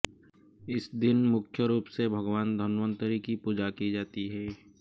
इस दिन मुख्य रूप से भगवान धन्वंतरि की पूजा की जाती है